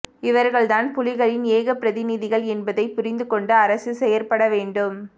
இவர்கள்தான் புலிகளின் ஏகப் பிரதிநிதிகள் என்பதைப் புரிந்துகொண்டு அரசு செயற்படவேண்டும்